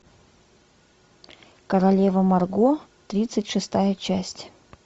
королева марго тридцать шестая часть